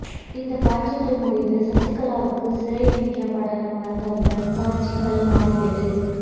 இந்த காட்சிகள் முடிந்து சசிகலாவுக்கு சிறை என்ற படலம் வந்தவுடன் காட்சிகள் மாறியது